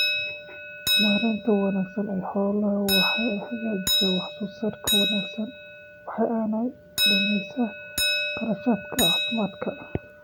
Maaraynta wanaagsan ee xoolaha waxa ay xaqiijisaa wax soo saarka wanaagsan, waxa aanay dhimaysaa kharashaadka caafimaadka.